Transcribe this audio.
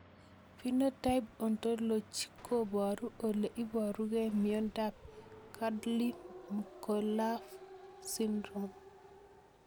Phenotype ontology koparu ole iparukei miondop Chudley Mccullough syndrome